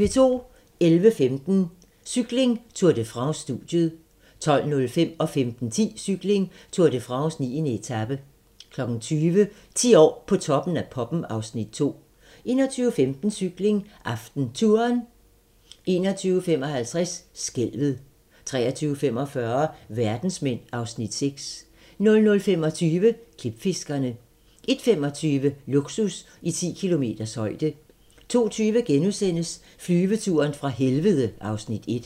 11:15: Cykling: Tour de France - studiet 12:05: Cykling: Tour de France - 9. etape 15:10: Cykling: Tour de France - 9. etape 20:00: 10 år på Toppen af poppen (Afs. 2) 21:15: Cykling: AftenTouren 21:55: Skælvet 23:45: Verdensmænd (Afs. 6) 00:25: Klipfiskerne 01:25: Luksus i 10 kilometers højde 02:20: Flyveturen fra helvede (Afs. 1)*